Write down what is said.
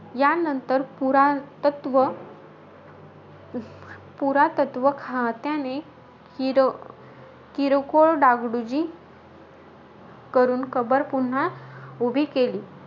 यांनतर, पुरातत्व पुरातत्व खात्याने किर किरकोळ डागडुजी करून कबर पुन्हा उभी केली.